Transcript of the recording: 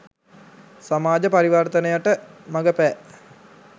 සමාජ පරිවර්තනයට මඟ පෑ